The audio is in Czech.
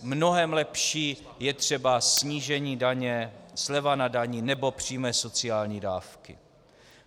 Mnohem lepší je třeba snížení daně, sleva na dani nebo přímé sociální dávky.